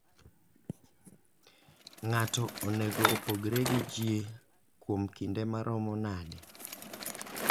Ng'ato onego opogre gi ji kuom kinde maromo nade?